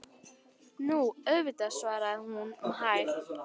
Nú, auðvitað, svaraði hún um hæl.